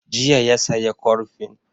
Jiya ya saya kurfin